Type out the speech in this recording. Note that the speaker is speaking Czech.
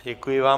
Děkuji vám.